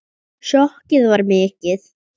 Sjokkið var mikið.